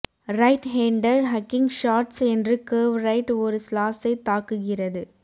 right hander hooking shots என்று curve right ஒரு ஸ்லாஸைத் தாக்குகிறது